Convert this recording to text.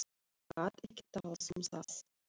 En gat ekki talað um það.